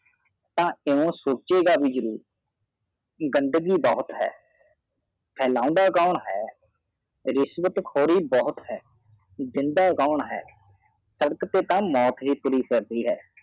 ਤਾ ਕਿਓ ਸੋਚੇਗਾ ਵੀ ਜਰੂਰ ਗੰਡਗੀ ਬਹਾਉਤ ਹੈ ਫੇਲਾਉਂਦਾ ਕੋਨ ਹੈ ਰਿਸ਼ਵਤ ਖੌਰੀ ਬਹੁਤ ਹੈ ਜ਼ਿੰਦਾ ਕਾਨ ਹੈ ਸਡਾਕ ਤੇ ਤਾ ਮੌਤ ਵੀ ਤੁਰੀ ਫਰਦੀ ਹੈ